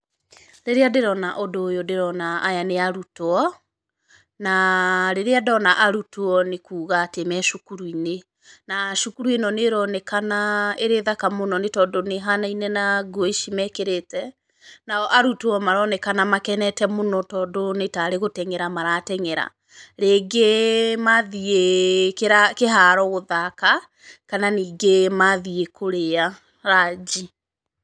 Rĩrĩa ndĩrona ũndũ ũyũ ndĩrona aya nĩ arutwo, na rĩrĩa ndona arutwo nĩ kuga atĩ me cukuru-inĩ. Na cukuru ĩno nĩ ĩronekana ĩrĩ thaka mũno nĩ tondũ nĩ ĩhanaine na nguo ici mekĩrĩte, nao arutwo maronekana makenete mũno tondũ nĩ tarĩ gũteng'era marateng'era, rĩngĩ mathiĩ kĩharo gũthaka kana ningĩ mathiĩ kũrĩa ranji.